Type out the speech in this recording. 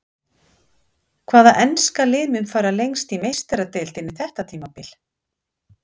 Hvaða enska lið mun fara lengst í Meistaradeildinni þetta tímabil?